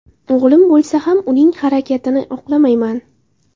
O‘g‘lim bo‘lsa ham uning bu harakatini oqlamayman .